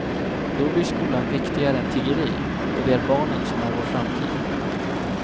Då blir skolan viktigare än tiggeri och det är barnen som är vår framtid.